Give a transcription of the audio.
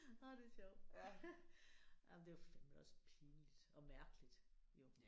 Ej det er sjovt. Jamen det er fandme da også pinligt og mærkeligt jo